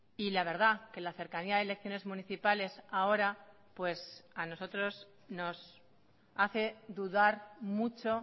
y la verdad que la cercanía de elecciones municipales ahora pues a nosotros nos hace dudar mucho